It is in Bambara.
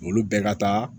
Olu bɛɛ ka taa